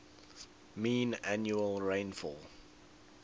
mean annual rainfall